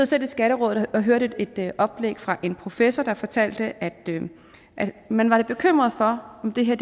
selv i skatterådet og jeg hørte et oplæg fra en professor der fortalte at man var lidt bekymret for om det her